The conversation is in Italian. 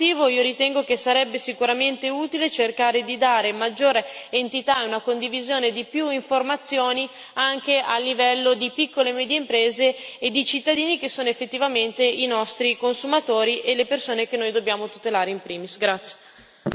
Proprio per questo motivo, io ritengo che sarebbe sicuramente utile cercare di dare maggiore entità e condividere più informazioni anche a livello di piccole e medie imprese e di cittadini che sono effettivamente i nostri consumatori e le persone che noi dobbiamo tutelare in primis.